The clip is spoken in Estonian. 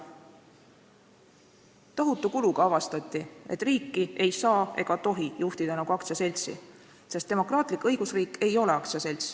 Tohutu kulu hinnaga avastati, et riiki ei saa ega tohi juhtida nagu aktsiaseltsi, sest demokraatlik õigusriik ei ole aktsiaselts.